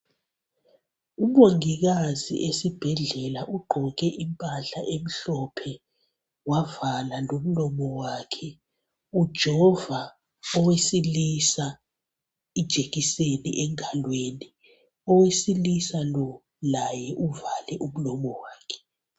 Umongikazi esibhedlela uqgoke impahla emhlophe wavala lomlomo wakhe ujova owesilisa ijekiseni engalweni owesilisa lo laye uvale umlomo wakhe